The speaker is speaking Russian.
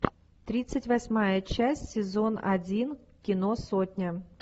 тридцать восьмая часть сезон один кино сотня